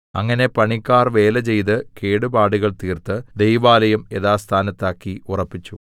അങ്ങനെ പണിക്കാർ വേലചെയ്ത് കേടുപാടുകൾ തീർത്ത് ദൈവാലയം യഥാസ്ഥാനത്താക്കി ഉറപ്പിച്ചു